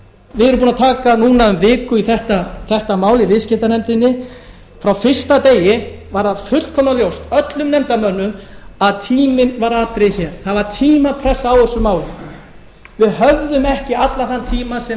við erum búin að taka núna um viku í þetta mál í viðskiptanefndinni frá fyrsta degi var það fullkomlega ljóst öllum nefndarmönnum að tíminn var atriði hér það var tímapressa á þessu máli við höfðum ekki allan þann tíma sem